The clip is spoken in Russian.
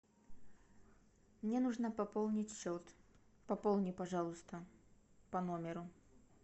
мне нужно пополнить счет пополни пожалуйста по номеру